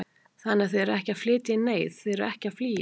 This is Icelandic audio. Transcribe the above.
Þannig að þið eruð ekki að flytja í neyð, þið eruð ekki að flýja?